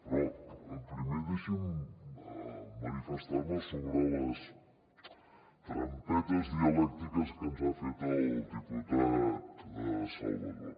però primer deixi’m manifestar me sobre les trampetes dialèctiques que ens ha fet el diputat salvadó